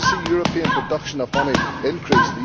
I want to see the European production of honey increase.